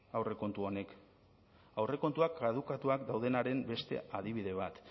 aurrekontu honek aurrekontuak kadukatuak daudenaren beste adibide bat